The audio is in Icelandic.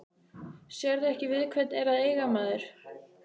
Sérðu ekki við hvern er að eiga maður?